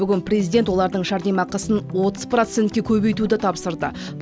бүгін президент олардың жәрдемақысын отыз процентке көбейтуді тапсырды